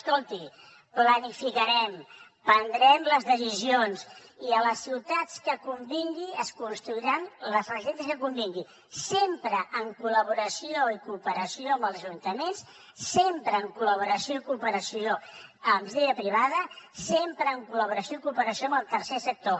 escolti planificarem prendrem les decisions i a les ciutats on convingui es construiran les residències que convinguin sempre en col·laboració i cooperació amb els ajuntaments sempre en col·laboració i cooperació amb iniciativa privada sempre en col·laboració i cooperació amb el tercer sector